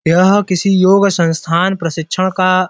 यह किसी योग संस्थान प्रशिक्षण का--